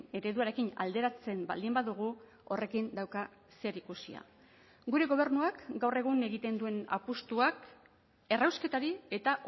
ereduarekin alderatzen baldin badugu horrekin dauka zerikusia gure gobernuak gaur egun egiten duen apustuak errausketari eta